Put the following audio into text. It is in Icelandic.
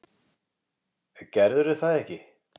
Gerðirðu það ekki?